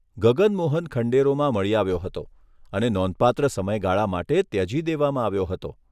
ગગન મોહન ખંડેરોમાં મળી આવ્યો હતો અને નોંધપાત્ર સમયગાળા માટે ત્યજી દેવામાં આવ્યો હતો.